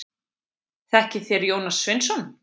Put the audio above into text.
Þekkið þér Jónas Sveinsson?